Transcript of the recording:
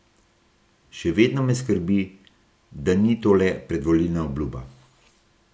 Še vedno me skrbi, da ni to le predvolilna obljuba.